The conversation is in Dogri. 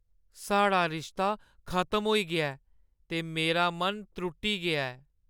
साढ़ा रिश्ता खतम होई गेआ ऐ ते मेरा मन त्रुट्टी गेआ ऐ।